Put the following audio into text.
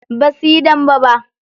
Basuyi dambe ba.